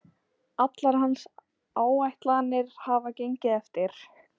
Allar hans áætlanir hafa gengið eftir